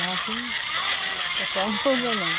Mas aqui o pessoal não usa, não.